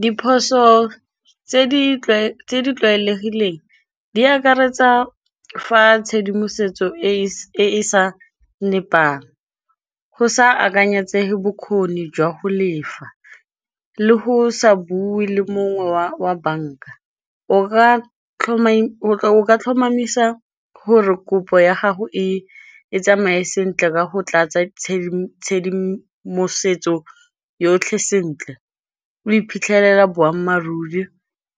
Diphoso tse di tlwaelegileng di akaretsa fa tshedimosetso e e sa nepang go sa akanyetsege bokgoni jwa go lefa le go sa bue le mongwe wa banka o ka tlhomamisa gore kopo ya gago e tsamaye sentle ka go tlatsa tshedimosetso yotlhe sentle, o iphitlhelele